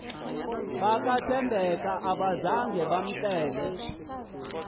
bakathembeka abazanga bamcelele